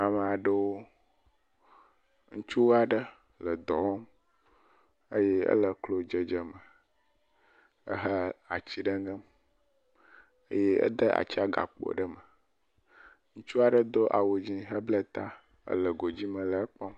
Amea ɖewo. Ŋutsu aɖe le dɔ wɔm eye ele klodzedzeme ehe ati ɖe ŋem. Eye ede atsia gakpo ɖe me. Ŋutsu aɖe doawu dzẽ hebla ta, le godzime le egbɔ.